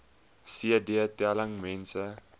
cd telling mense